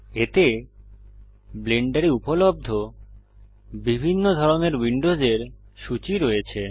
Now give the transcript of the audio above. এতে ব্লেন্ডারে উপলব্ধ বিভিন্ন ধরনের উইন্ডোসের সূচী রয়েছে